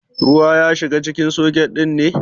Ruwa ya shiga cikin soket ɗin ne?